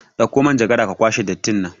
Ɗakko manjagara ka kwashe dattin nan